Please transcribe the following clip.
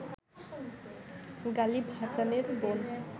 গালিব হাসানের বোন